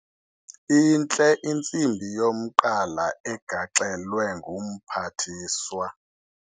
Intle intsimbi yomqala egaxelwe ngumphathiswa.